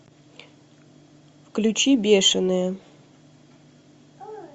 включи бешенные